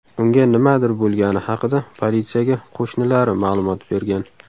Unga nimadir bo‘lgani haqida politsiyaga qo‘shnilari ma’lumot bergan.